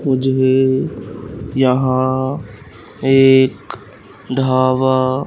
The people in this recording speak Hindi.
मुझे भी यहां एक ढाबा--